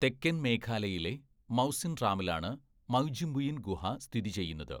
തെക്കൻ മേഘാലയയിലെ മൗസിൻറാമിലാണ് മൗജിമ്പുയിൻ ഗുഹ സ്ഥിതിചെയ്യുന്നത്.